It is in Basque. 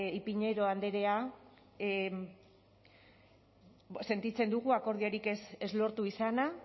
ipiñazar andrea sentitzen dugu akordiorik ez lortu izana